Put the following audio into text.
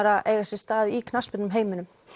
að eiga sér stað í knattspyrnuheiminum